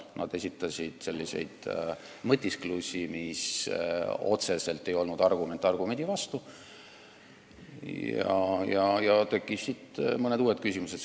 Nad esitasid n-ö mõtisklusi, mis ei olnud otseselt argument argumendi vastu, ja selliste vastuste pinnalt tekkisid mõned uued küsimused.